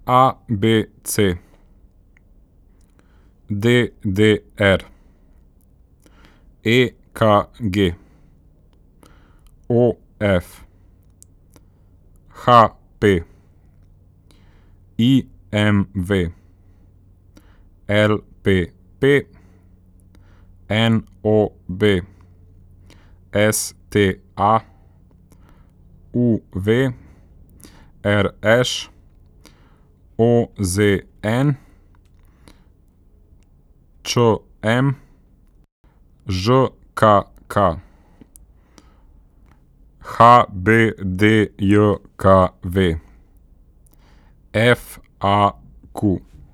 A B C; D D R; E K G; O F; H P; I M V; L P P; N O B; S T A; U V; R Š; O Z N; Č M; Ž K K; H B D J K V; F A Q.